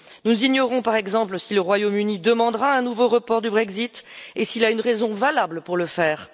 Nous ignorons par exemple si le Royaume Uni demandera un nouveau report du Brexit et s'il a une raison valable pour le faire.